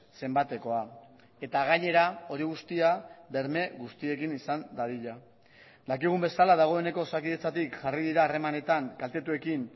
zenbatekoa eta gainera hori guztia berme guztiekin izan dadila dakigun bezala dagoeneko osakidetzatik jarri dira harremanetan kaltetuekin